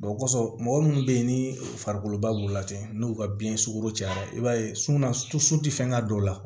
o kɔsɔn mɔgɔ munnu be yen ni farikolo ba b'u lajɛ n'u ka biyɛn sukoro cayara i b'a ye sunan su tɛ fɛn ka don o la